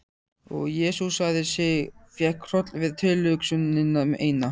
Og jesúsaði sig, fékk hroll við tilhugsunina eina.